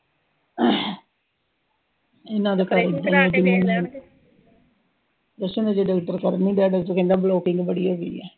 ਕੁਸ਼ ਨੀਂ ਜਦੋਂ ਡਾਕਟਰ ਕਰਨ ਈ ਡਿਆ, ਡਾਕਟਰ ਕਹਿੰਦਾ ਵੀ ਵਧੀਆ ਪਈ ਆ।